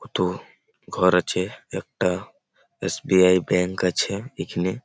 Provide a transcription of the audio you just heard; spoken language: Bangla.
কত ঘর আছে একটা এস .বি.আই ব্যাঙ্ক আছে এখানে।